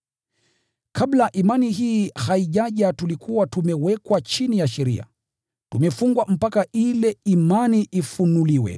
Kabla imani hii haijaja tulikuwa tumewekwa chini ya sheria, tumefungwa mpaka ile imani ifunuliwe.